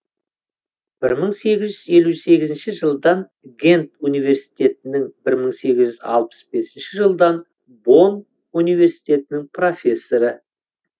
бір мың сегіз жүз елу сегізінші жылдан гент университетінің бір мың сегіз жүз алпыс бесінші жылдан бонн университетінің профессоры